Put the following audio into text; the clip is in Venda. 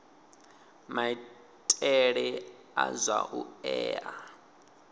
maitele a zwa u ea